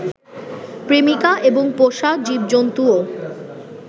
প্রেমিকা এবং পোষা জীবজন্তুও